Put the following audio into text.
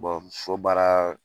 fo baara